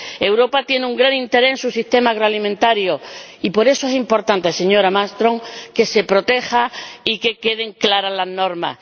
Europa tiene un gran interés en su sistema agroalimentario y por eso es importante, señora Malmström, que se proteja y que queden claras las normas